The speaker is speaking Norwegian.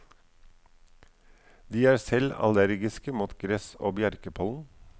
De er selv allergiske mot gress og bjerkepollen.